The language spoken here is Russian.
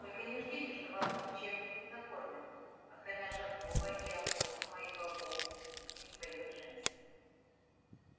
только не ждите что вас там чем-нибудь накормят окромя жаркого из опоссума и бобов бубнил своё джемс